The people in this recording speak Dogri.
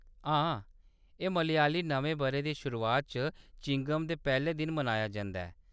हां, एह्‌‌ मलयाली नमें बʼरे दी शुरुआत च चिंगम दे पैह्‌‌‌ले दिन मनाया जंदा ऐ।